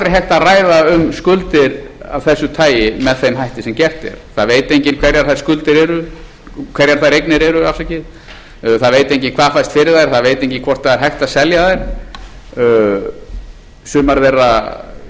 það er aldrei hægt að ræða um skuldir af þessu tagi með þeim hætti sem gert er það veit enginn hverjar þær eignir eru það veit enginn hvað fæst fyrir þær það veit enginn gert það er hægt að selja þær sumar þeirra